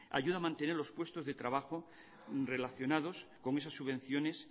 ayuda a mantener los puestos de trabajo relacionados con esas subvenciones